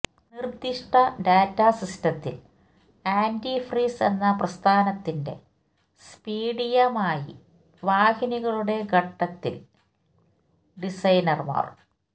നിർദ്ദിഷ്ട ഡാറ്റ സിസ്റ്റത്തിൽ ആന്റിഫ്രീസ് എന്ന പ്രസ്ഥാനത്തിന്റെ സ്പീഡ് യമായി വാഹിനികളുടെ ഘട്ടം ൽ ഡിസൈനർമാർ